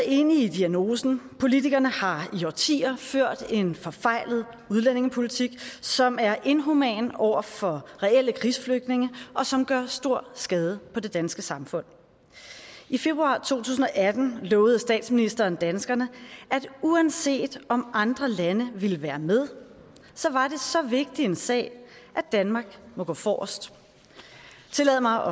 enige i diagnosen politikerne har i årtier ført en forfejlet udlændingepolitik som er inhuman over for reelle krigsflygtninge og som gør stor skade på det danske samfund i februar to tusind og atten lovede statsministeren danskerne at uanset om andre lande ville være med så var det så vigtig en sag at danmark må gå forrest tillade mig